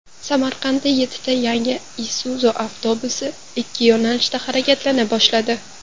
Samarqandda yettita yangi Isuzu avtobusi ikki yo‘nalishda harakatlana boshladi .